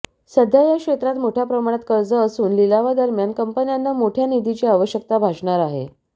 सध्या या क्षेत्रात मोठ्या प्रमाणात कर्ज असून लिलावादरम्यान कंपन्यांना मोठ्या निधीची आवश्यकता भासणार आहे